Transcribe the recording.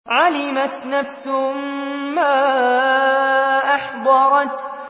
عَلِمَتْ نَفْسٌ مَّا أَحْضَرَتْ